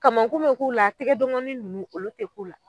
Kamankun bɛ k'u la, tigɛden kɔnni ninnu olu tɛ k'u la.